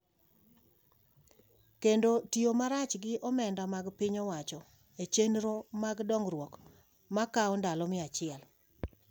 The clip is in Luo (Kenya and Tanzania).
kendo tiyo marach gi omenda mag piny owacho e chenro mag dongruok ma kawo ndalo mia achiel.